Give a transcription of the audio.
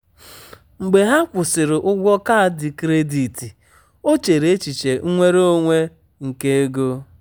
mgbe ha kwụsịrị ụgwọ kaadị kredit o chere echiche nnwere onwe nke ego.